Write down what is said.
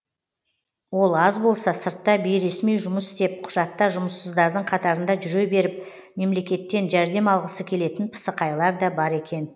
ол аз болса сыртта бейресми жұмыс істеп құжатта жұмыссыздардың қатарында жүре беріп мемлекеттен жәрдем алғысы келетін пысықайлар да бар екен